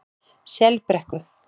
Selbrekku